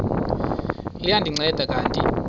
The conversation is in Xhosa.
liya ndinceda kanti